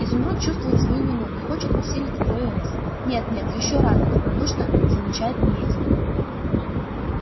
изумруд чувствует свою вину и хочет усилить вдвое рысь нет нет ещё рано добродушно замечает наездник